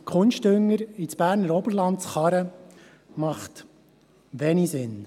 Kunstdünger ins Berner Oberland zu karren, macht wenig Sinn.